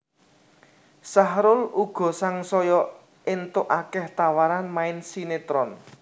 Sahrul uga sangsaya éntuk akéh tawaran main sinetron